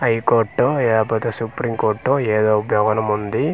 High court ఇహపోతే supreme court ఏదో ఒక ఉంది.